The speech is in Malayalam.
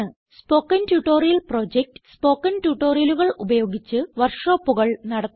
സ്പോകെൻ ട്യൂട്ടോറിയൽ പ്രൊജക്റ്റ് സ്പോകെൻ ട്യൂട്ടോറിയലുകൾ ഉപയോഗിച്ച് വർക്ക് ഷോപ്പുകൾ നടത്തുന്നു